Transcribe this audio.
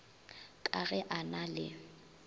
ka ge a na le